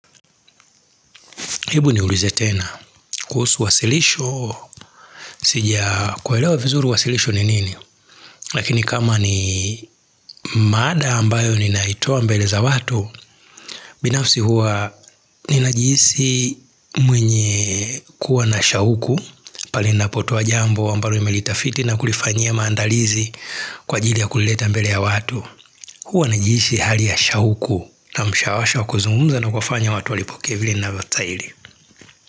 Ebu ni ulize tena, kuhusu wasilisho, sija kuelewa vizuru wasilisho ni nini, lakini kama ni maada ambayo ni naitoa mbele za watu, binafsi huwa ni najihisi mwenye kuwa na shauku pali napotoa jambo ambaro imelitafiti na kulifanyia maandalizi kwa jili ya kulileta mbele ya watu. Huwa najisi hali ya shauku na mshawasha wakuzumza na kuwafanya watu walipokevile inavyostaili.